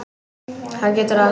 Hann getur allt.